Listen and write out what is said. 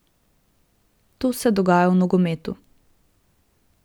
To se dogaja v nogometu.